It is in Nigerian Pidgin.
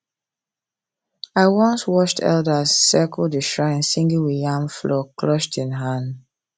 i once watched elders circle the shrine singing with yam flour clutched in hand